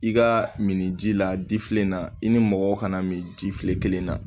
I ka min ji la difili la i ni mɔgɔw kana min jifilele kelen na